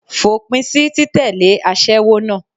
Fòpin sí títẹ̀lé aṣẹ́wó náà.